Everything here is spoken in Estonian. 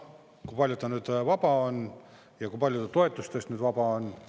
Kui palju ta nüüd vaba on ja kui palju toetustest vaba on?